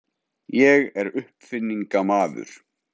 Ég er uppfinningamaður.